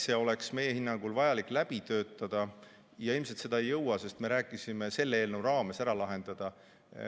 See oleks meie hinnangul vaja läbi töötada ja ilmselt seda ei jõua selle eelnõu raames ära lahendada.